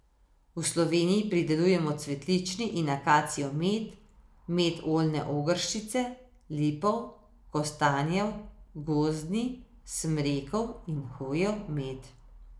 V Sloveniji pridelujemo cvetlični in akacijev med, med oljne ogrščice, lipov, kostanjev, gozdni, smrekov in hojev med.